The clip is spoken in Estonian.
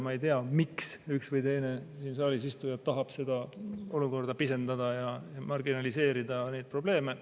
Ma ei tea, miks üks või teine siin saalis istuja tahab seda olukorda pisendada ja marginaliseerida neid probleeme.